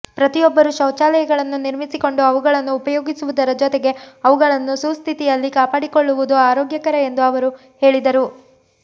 ಪ್ರತಿಯೊಬ್ಬರೂ ಶೌಚಾಲಯಗಳನ್ನು ನಿರ್ಮಿಸಿಕೊಂಡು ಅವುಗಳನ್ನು ಉಪಯೋಗಿಸುವುದರ ಜೊತೆಗೆ ಅವುಗಳನ್ನು ಸುಸ್ಥಿತಿಯಲ್ಲಿ ಕಾಪಾಡಿಕೊಳ್ಳುವುದು ಆರೋಗ್ಯಕರ ಎಂದು ಅವರು ಹೇಳಿದರು